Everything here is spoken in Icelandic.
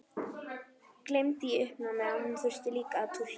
Gleymdi í uppnáminu að hún þurfti líka að túlka.